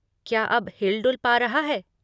क्या अब हिल डुल पा रहा है?